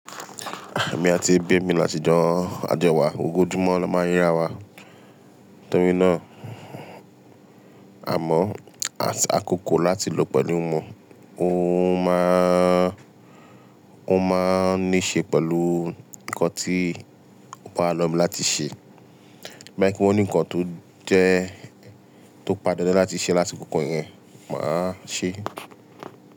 Èmi àti ẹ̀bí mi lásìjọ ajowà, ojoójúmọ́ ni a máa ń rí ara wa. Tori náà. Àmọ́ àti àkókò láti lò pẹ̀lú wọn, ó máá, ó máa ní ṣe pẹ̀lú nǹkan tí wọn á lọ mí láti ṣe. Bia won ni nǹkan tó jẹ́, tó padàn dán láti ṣe lási kọ́kọ́ yẹn, màá ṣe é.